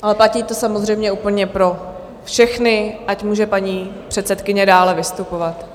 Ale platí to samozřejmě úplně pro všechny, ať může paní předsedkyně dále vystupovat.